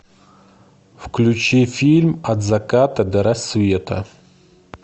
включи фильм от заката до рассвета